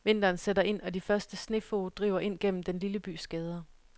Vinteren sætter ind og de første snefog driver ind gennem den lille bys gader.